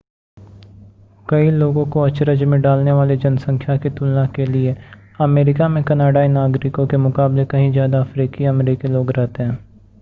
कई लोगों को अचरज में डालने वाली जनसंख्या की तुलना के लिए अमेरिका में कनाडाई नागरिकों के मुकाबले कहीं ज़्यादा अफ़्रीकी अमेरिकी लोग रहते हैं